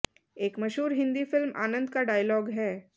एक मशहूर हिंदी फिल्म आनंद का डायलॉग है